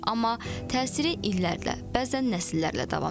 Amma təsiri illərlə, bəzən nəsillərlə davam edir.